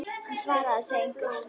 Hann svarar þessu engu.